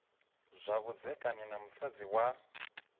zwa vhudzekani na musadzi wa